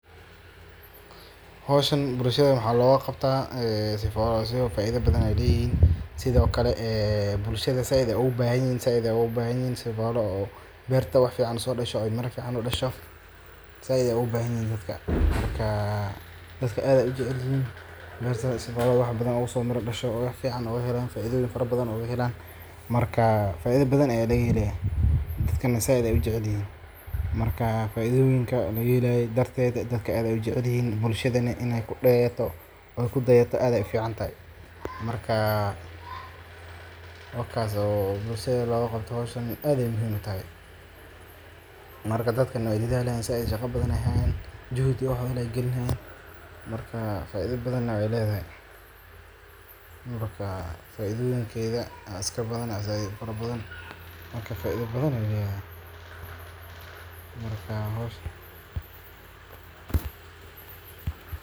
Howshu waxay leedahay faa’iidooyin badan oo muhiim ah bulshada dhexdeeda. Marka dadku si wadajir ah uga qeyb qaataan hawlaha bulshada, waxa ay kordhisaa is-dhexgalka iyo wadajirka, taasoo keenta nabad iyo isfahan. Sidoo kale, howshu waxay bulshada ka caawisaa horumarka, iyadoo si wadajir ah loo xallin karo dhibaatooyinka jira, lana hirgelin karo horumar waara. Intaa waxaa dheer, dadku waxay helaan fursado ay ku horumariyaan xirfadahooda, ku dhisaan kalsoonida naftooda, iyo inay dareemaan inay yihiin qayb muhiim ah oo ka tirsan bulshada. Marka la eego dhammaan arrimahaas.